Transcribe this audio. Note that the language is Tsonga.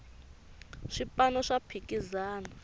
swipano swa phikizana